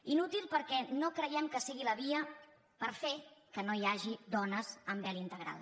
inútil perquè no creiem que sigui la via per fer que no hi hagi dones amb vel integral